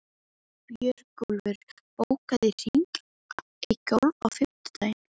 Björgúlfur, bókaðu hring í golf á fimmtudaginn.